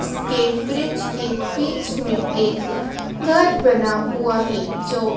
इसके ब्रिज के बीच में एक घर बना हुआ है जो --